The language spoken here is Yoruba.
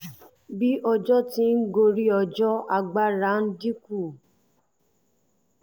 bí ọjọ́ ti ń gorí ọjọ́ agbára rẹ̀ ń dín kù